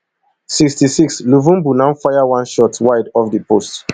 sixty-sixluvumbu now fire one shot wide off di post